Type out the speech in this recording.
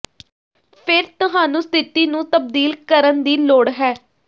ਫਿਰ ਤੁਹਾਨੂੰ ਸਥਿਤੀ ਨੂੰ ਤਬਦੀਲ ਕਰਨ ਦੀ ਲੋੜ ਹੈ